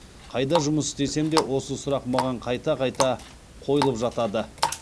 қайда жұмыс істесем де осы сұрақ маған қайта кайта қойылып жатады